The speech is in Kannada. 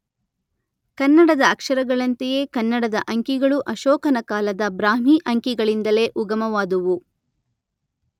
ಕನ್ನಡದ ಅಕ್ಷರಗಳಂತೆಯೇ ಕನ್ನಡದ ಅಂಕಿಗಳೂ ಅಶೋಕನ ಕಾಲದ ಬ್ರಾಹ್ಮಿ ಅಂಕಿಗಳಿಂದಲೇ ಉಗಮವಾದುವು.